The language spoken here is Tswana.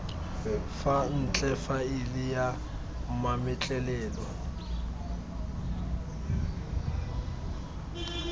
fa ntle faele ya mametlelelo